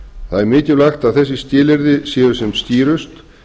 það er mikilvægt að þessi skilyrði séu sem skýrust